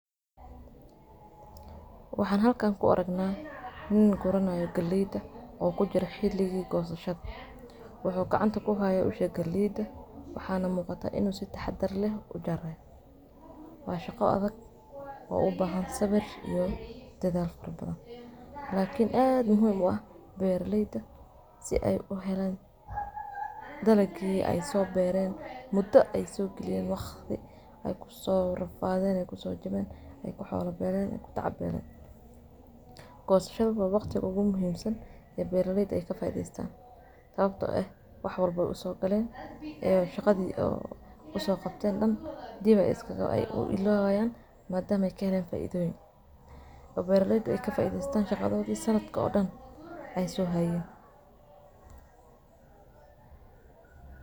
Waxaan halkan ku argna nin guranayo galayda oo kujiro xiliga goosashada wuxu gacanta ku haya galayda waxana muqata inu si tahadhar leeh ujarayo. Waa shaqo adag o ubahan sawir iyo dadhaal farabadhan lakiin aad muhiim u ah beralayda si ay u helaan daalgi ay sobereen mudo ay so galiyeen waqti ay kuso rafadheen ay kusojaween o waxodhi beeren ay kutaca beelen. Gosashada waa waqti ugu muhiim saan oo beralyda ay kafaidhestan sababto eeh wa wax walba oo usogaleen oo shaqadho o usoqabteen daan diba ay u ilowayan madama ay kaheleen faidhoyiin o beralayda ay kafaidhestan shaqadhodhi sanadko daan ay sohayeen.